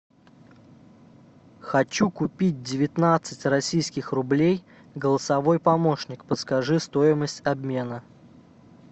хочу купить девятнадцать российских рублей голосовой помощник подскажи стоимость обмена